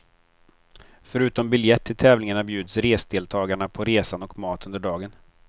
Förutom biljett till tävlingarna bjuds resdeltagarna på resan och mat under dagen.